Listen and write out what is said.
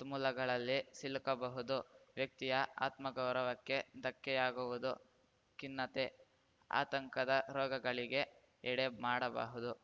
ತುಮುಲಗಳಲ್ಲಿ ಸಿಲುಕಬಹುದು ವ್ಯಕ್ತಿಯ ಆತ್ಮಗೌರವಕ್ಕೆ ಧಕ್ಕೆಯಾಗುವುದು ಖಿನ್ನತೆ ಆತಂಕದ ರೋಗಗಳಿಗೆ ಎಡೆ ಮಾಡಬಹುದು